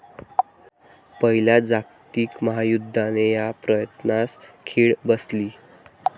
पहिल्या जागतिक महायुद्धाने या प्रयत्नास खीळ बसली.